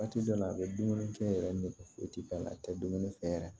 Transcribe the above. Waati dɔw la a bɛ dumuni kɛ yɛrɛ nege foyi tɛ k'a la a tɛ dumuni fɛ yɛrɛ